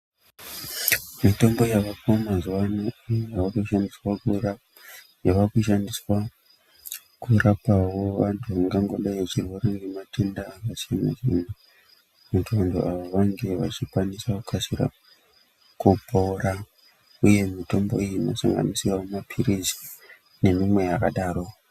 Mitombo yavako mazuvaano yava kushandiswa kurapawo vantu vangodai kurwara nge matenda akasiyana siyana kuti vantu vange vachikasira kupora uye mitombo iyi inosanganisira mapilizi nemimwe yakadaro.